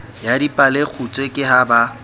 ya dipalekgutshwe ke ha ba